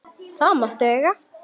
Það máttu eiga.